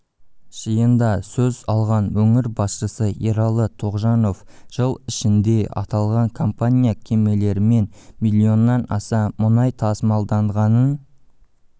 жиында сөз алған өңір басшысы ералы тоғжанов жыл ішінде аталған компания кемелерімен миллионнан аса мұнай тасымалданғанын